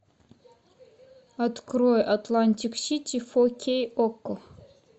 открой атлантик сити фо кей окко